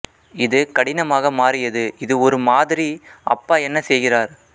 இது கடினமாக மாறியது இது ஒரு மாதிரி அப்பா என்ன செய்கிறார்